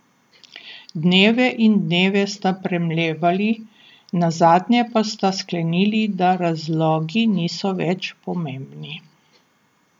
Dneve in dneve sta premlevali, nazadnje pa sta sklenili, da razlogi niso več pomembni.